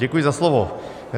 Děkuji za slovo.